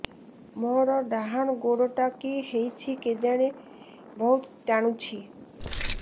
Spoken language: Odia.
ମୋର୍ ଡାହାଣ୍ ଗୋଡ଼ଟା କି ହଉଚି କେଜାଣେ ବହୁତ୍ ଟାଣୁଛି